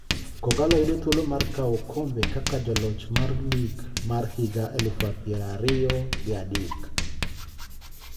Kogallo yudo thuolo mar kawo okombe kaka joloch mar league mar higa elufu piero ariyo gi adek.